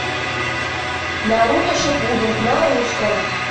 наруто шипуден на русском